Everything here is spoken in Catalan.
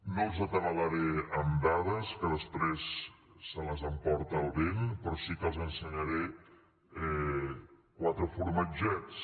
no els atabalaré amb dades que després se les emporta el vent però sí que els ensenyaré quatre formatgets